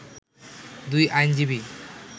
দুই আইনজীবী